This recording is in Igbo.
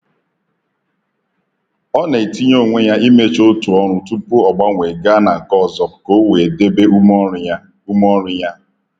Ọ na-etinye onwe ya imecha otu ọrụ tupu o gbanwee gaa na nke ọzọ ka o wee debe ume ọrụ ya. ume ọrụ ya.